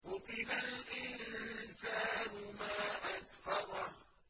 قُتِلَ الْإِنسَانُ مَا أَكْفَرَهُ